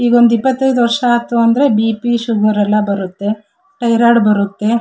ಈಗೊಂದು ಇಪತೈದು ವರ್ಷ ಆತು ಅಂದ್ರೆ ಬಿ.ಪಿ. ಶುಗರ್ ಎಲ್ಲಾ ಬರುತ್ತೆ ತೈರಾಯ್ಡ್ ಬರುತ್ತೆ .